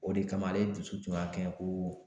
O de kama ale dusu tun y'a kɛɲɛ ko